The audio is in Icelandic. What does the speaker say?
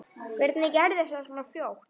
Hvernig gerðist það svona fljótt?